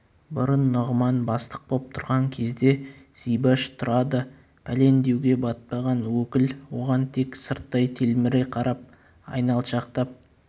бұрын нұғыман бастық боп тұрған кезде зибаш турады пәлен деуге батпаған өкіл оған тек сырттай телміре қарап айналшақтап